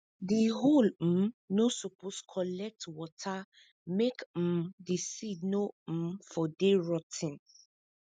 di hole um no suppose collect water make um di seed no um for dey rot ten